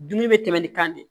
Dumuni bɛ tɛmɛ ni kan de